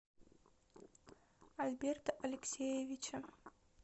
альберта алексеевича